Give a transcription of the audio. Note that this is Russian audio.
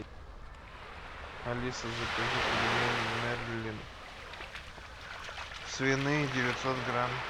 алиса закажи пельмени мерлин свиные девятьсот грамм